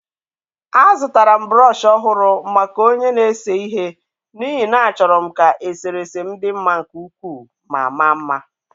Azụtara m brọsh ọhụrụ maka onye na-ese ihe n’ihi na achọrọ m ka eserese m dị mma nke ukwuu ma maa mma.